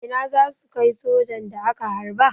Ina za su kai sojan da aka harba?